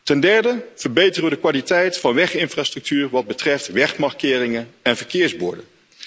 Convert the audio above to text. Ten derde verbeteren we de kwaliteit van weginfrastructuur voor wat betreft wegmarkeringen en verkeersborden.